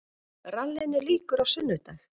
Rallinu lýkur á sunnudag